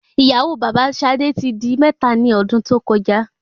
ìyàwó baba sadé ti di mẹ́ta ni ọdún tó koja